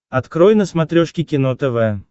открой на смотрешке кино тв